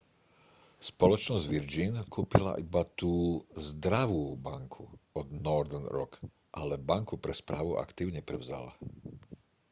spoločnosť virgin kúpila iba tú zdravú banku od northern rock ale banku pre správu aktív neprevzala